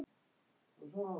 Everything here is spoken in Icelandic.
Annað atriði.